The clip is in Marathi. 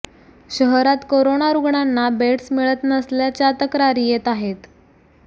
शहरात करोना रुग्णांना बेड्स मिळत नसल्याच्या तक्रारी येत आहेत